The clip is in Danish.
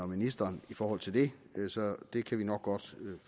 ministeren i forhold til det så det kan vi nok godt